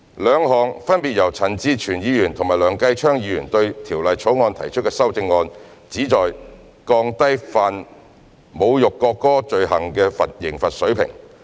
兩項分別由陳志全議員和梁繼昌議員對《條例草案》提出的修正案，旨在降低犯侮辱國歌罪行的刑罰水平。